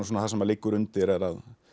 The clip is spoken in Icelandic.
það sem liggur undir er að